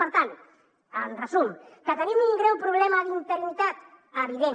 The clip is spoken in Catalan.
per tant en resum que tenim un greu problema d’interinitat evident